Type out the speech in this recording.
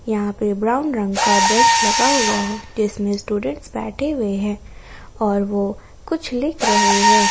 यहां पे ब्राउन रंग का बेंच लगा हुआ है जिसमें स्टूडेंट्स बैठे हुए हैं और वो कुछ लिख रहे हैं।